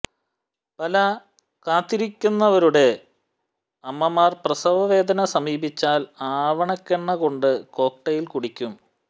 പല കാത്തിരിക്കുന്നവരുടെ അമ്മമാർ പ്രസവവേദന സമീപിച്ചാൽ ആവണക്കെണ്ണ കൊണ്ട് കോക്ടെയ്ൽ കുടിക്കുകയും